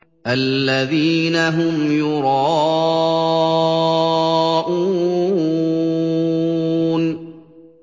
الَّذِينَ هُمْ يُرَاءُونَ